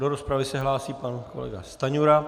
Do rozpravy se hlásí pan kolega Stanjura.